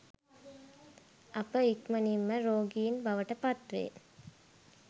අප ඉක්මණින් ම රෝගීන් බවට පත් වේ.